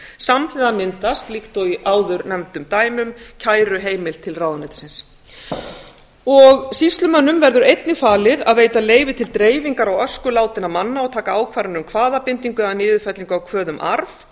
samhliða myndast líkt og í áðurnefndum dæmum kæruheimild til ráðuneytisins sýslumönnum verður einnig falið að veita leyfi til dreifingar á ösku látinna manna og taka ákvarðanir um kvaðabindingu eða niðurfellingu á kvöð um arð